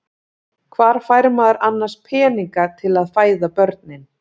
Hvar fær maður annars peninga til að fæða börnin?